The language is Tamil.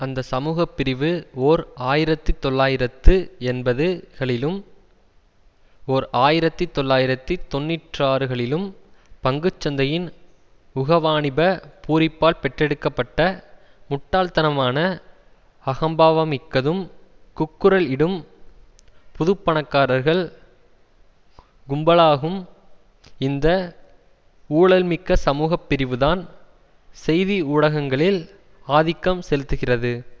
அந்த சமூக பிரிவு ஓர் ஆயிரத்தி தொள்ளாயிரத்து எண்பது களிலும் ஓர் ஆயிரத்தி தொள்ளாயிரத்தி தொன்னிற்றாறு களிலும் பங்குச்சந்தையின் உகவாணிப பூரிப்பால் பெற்றெடுக்கப்பட்ட முட்டாள்தனமான அகம்பாவமிக்கதும் கூக்குரல் இடும் புதுப்பணக்காரர்கள் கும்பலாகும் இந்த ஊழல்மிக்க சமூகப்பிரிவுதான் செய்திஊடகங்களில் ஆதிக்கம் செலுத்துகிறது